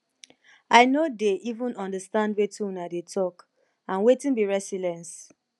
i no dey even understand wetin una dey talk and wetin be resilience